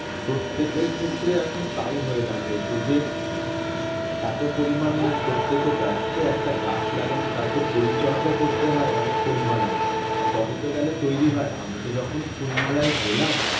প্রত্যেকের ক্ষেত্রে এখন তাই হয়ে দাঁড়িয়েছে যে এত পরিমান প্রত্যেকে ব্যস্ত একটা গাছ লাগালে তার তো পরিচর্যা করতে হয় অনেক পরিমাণে তবে তো গেলে তৈরি হয় আমি তো যখন ফুল মেলায় গেলাম